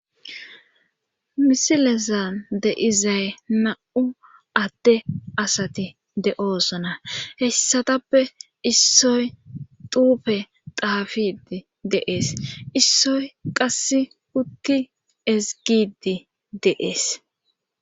Misilesan deizay na7u adte asati de7oosona hessatappe issoy duufe daafidi deees issoy qass utti ezgidi deees